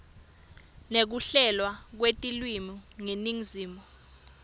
nekuhlelwa kwetilwimi yeningizimu